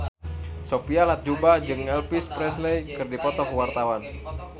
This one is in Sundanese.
Sophia Latjuba jeung Elvis Presley keur dipoto ku wartawan